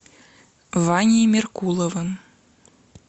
ваней меркуловым